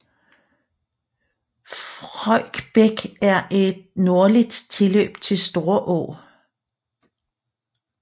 Frøjk Bæk er et nordligt tilløb til Storå